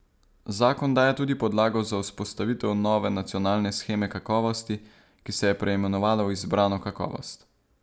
Zakon daje tudi podlago za vzpostavitev nove nacionalne sheme kakovosti, ki se je preimenovala v izbrano kakovost.